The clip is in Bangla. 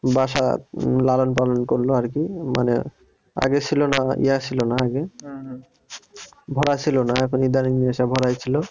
বাসায় লালন পালন করলো আরকি মানে আগে ছিলো না ইয়া ছিল না আগে, ভরা ছিল না এখন ইদানিং এসে ভরাই ছিল ও